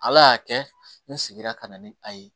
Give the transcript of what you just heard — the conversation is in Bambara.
Ala y'a kɛ n seginna ka na ni a ye